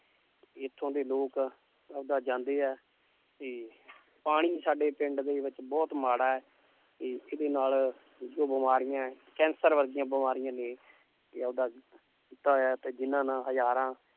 ਇੱਥੋਂ ਦੇ ਲੋਕ ਆਪਦਾ ਜਾਂਦੇ ਹੈ ਤੇ ਪਾਣੀ ਸਾਡੇ ਪਿੰਡ ਦੇ ਵਿੱਚ ਬਹੁਤ ਮਾੜਾ ਹੈ ਤੇ ਇਹਦੇ ਨਾਲ ਜੋ ਬਿਮਾਰੀਆਂ ਹੈ ਕੈਂਸਰ ਵਰਗੀਆਂ ਬਿਮਾਰੀਆਂ ਨੇ ਕਿ ਉਹਦਾ ਕੀਤਾ ਹੋਇਆ ਤੇ ਜਿੰਨਾਂ ਨਾਲ ਹਜ਼ਾਰਾਂ